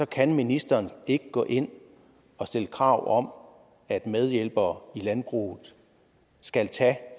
kan ministeren ikke gå ind og stille krav om at medhjælpere i landbruget skal tage